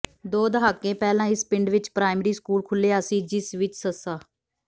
ਦੋ ਦਹਾਕੇ ਪਹਿਲਾਂ ਇਸ ਪਿੰਡ ਵਿੱਚ ਪ੍ਰਾਇਮਰੀ ਸਕੂਲ ਖੁੱਲ੍ਹਿਆ ਸੀ ਜਿਸ ਵਿੱਚ ਸ